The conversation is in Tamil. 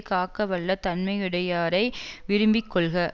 காக்கவல்ல தன்மையுடையாரை விரும்பிக் கொள்க